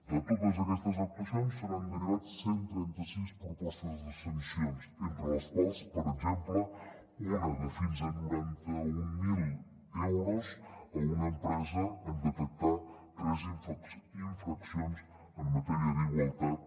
de totes aquestes actuacions se n’han derivat cent i trenta sis propostes de sancions entre les quals per exemple una de fins a noranta mil euros a una empresa en detectar tres infraccions en matèria d’igualtat